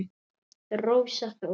Rósa Þóra.